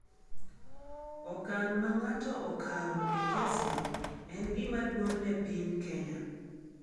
Okang’ ma ng’ato okawo e kesno en gima duong’ ne piny Kenya.